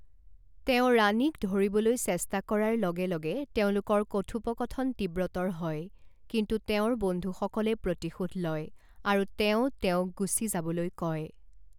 তেওঁ ৰাণীক ধৰিবলৈ চেষ্টা কৰাৰ লগে লগে তেওঁলোকৰ কথোপকথন তীব্ৰতৰ হয়, কিন্তু তেওঁৰ বন্ধুসকলে প্ৰতিশোধ লয়, আৰু তেওঁ তেওঁক গুচি যাবলৈ কয়।